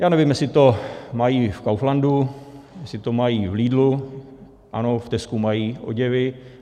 Já nevím, jestli to mají v Kauflandu, jestli to mají v Lidlu, ano v Tescu mají oděvy.